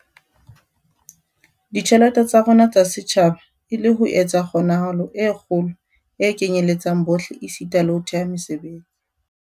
ditjhelete tsa rona tsa setjhaba e le ho etsa kgonahalo ya kgolo e kenyeletsang bohle esita le ho thea mesebetsi.